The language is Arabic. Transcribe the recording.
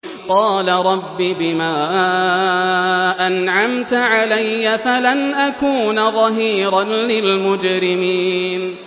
قَالَ رَبِّ بِمَا أَنْعَمْتَ عَلَيَّ فَلَنْ أَكُونَ ظَهِيرًا لِّلْمُجْرِمِينَ